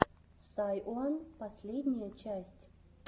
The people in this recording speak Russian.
сайуан последняя часть